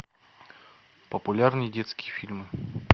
популярные детские фильмы